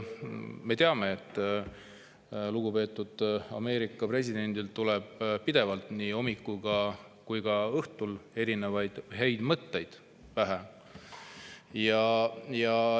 Me teame, et lugupeetud Ameerika presidendil tuleb pidevalt, nii hommikul kui ka õhtul, häid mõtteid pähe.